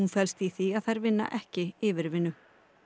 felst í því að þær vinna ekki yfirvinnu